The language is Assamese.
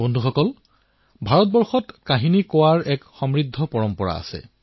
বন্ধুসকল ভাৰতত সাধু কোৱাৰ এক সমৃদ্ধ পৰম্পৰা আছে